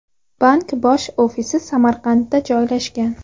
Bank bosh ofisi Samarqandda joylashgan.